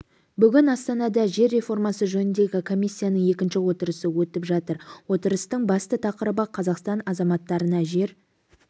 бүгін астанада жер реформасы жөніндегі комиссияның екінші отырысы өтіп жатыр отырыстың басты тақырыбы қазақстан азаматтарына жер